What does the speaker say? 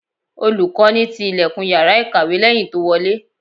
Olùkọ́ni ti ìlẹ̀kùn Ìyàrá ìkọ̀wé lẹ́yìn tó wọlé.